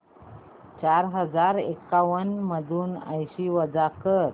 चार हजार एक्याण्णव मधून ऐंशी वजा कर